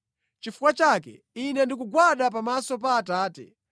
Nʼchifukwa chake ine ndikugwada pamaso pa Atate,